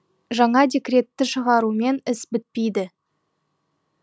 жаңа декретті шығарумен іс бітпейді